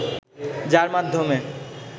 যার মাধ্যমে